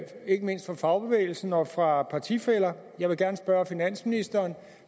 ikke mindst fra fagbevægelsen og fra partifæller jeg vil gerne spørge finansministeren